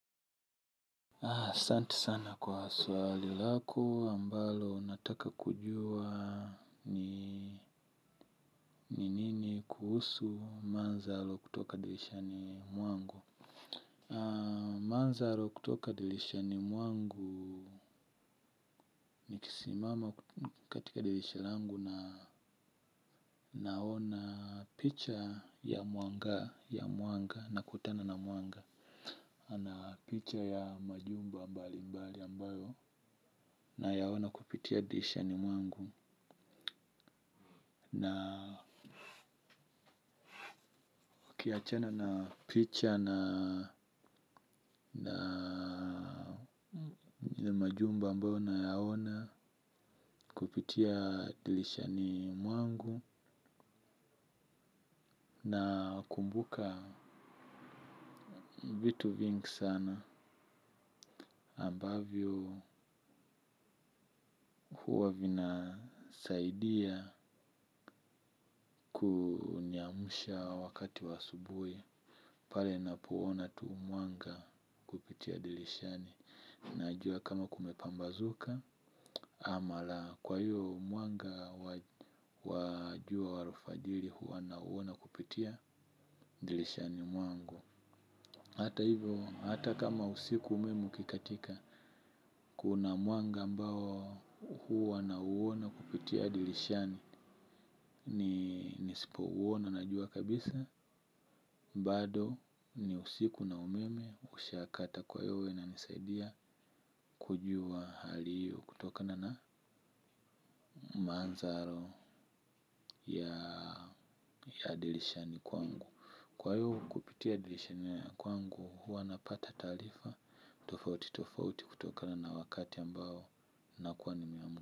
Ah, santi sana kwa swali lako ambalo nataka kujua ni ni nini kuhusu manzalo kutoka dilishani mwangu. Ah, manzalo kutoka dilishani mwangu. Nikisimama katika dilisha langu na naona picha ya muanga ya muanga na kutana na muanga na picha ya majumba mbali mbali ambayo nayaona kupitia dilishani muangu. Na kiachana na picha na majumba ambayo nayaona kupitia dilishani mwangu nakumbuka vitu vingi sana ambavyo uwa vinasaidia kuniamusha wakati wa asubui. Pale n poona tu mwanga kupitia dilishani. Najua kama kumepambazuka. Ama la kwa hiyo mwanga wa jua wa alfajiri huwa nauona kupitia dilishani mwangu. Hata hivyo, hata kama usiku umemu ukikatika. Kuna mwanga ambao huwa nauona kupitia dilishani. Ni nisipo uona najua kabisa. Bado ni usiku na umeme ushakata kwa hiyo hunisaidia. Kujua hali hiyo kutokana na manzaro ya dilishani kwangu. Kwa hiyo kupitia dilishani ya kwangu huwa napata talifa. Tofauti tofauti kutokana na wakati ambao nakuwa ni muimu.